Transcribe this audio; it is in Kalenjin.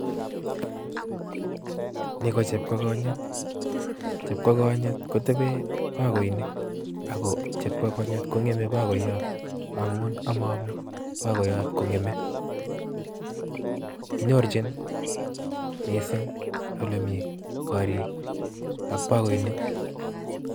Ni ko chepkokonyot, chepkokonyot kotebeen bokoinik ako kora kongeme bokoyot amu omooomii bogoyot kongeme. Kinyorchin missing ole mi korik ak bokoinik